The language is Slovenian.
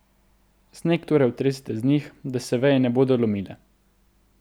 Sneg torej otresite z njih, da se veje ne bodo lomile.